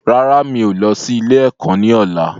Rárá, mi ò lọ sí ilé ẹ̀kọ́ ni ọ̀la.